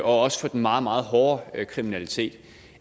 også for den meget meget hårde kriminalitet